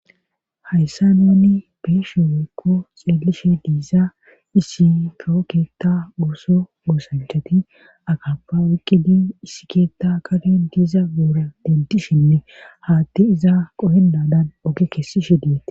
Hayssa nuuni beeshe weykko xeelishe diiza issi kookeetta gooso goosanchati akappa ukkidi issi keetta kaden diiza goora dentishinne haatti izaa qohennadan oge keessishe diyette